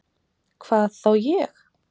Hvað þá ég?